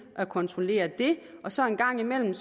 at kontrollere det og så en gang imellem